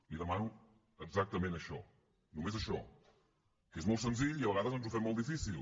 li demano exactament això només això que és molt senzill i a vegades ens ho fem molt difícil